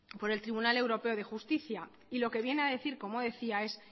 por el tribunal europeo de justicia y lo que viene a decir como decía es